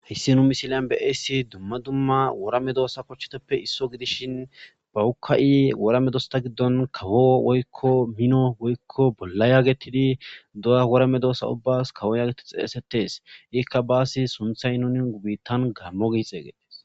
hissi nu misilyan be eessi dumma dumma worame doosa kochcheteppe isso gidishin bawukka7i worame dosta giddon kawo woykko mino woykko bolla yaagetidi duya worame doosa ubbas kawo yaagetid xeesetes ikka baasi sunthay nuni gu biittan gammo giixeeyges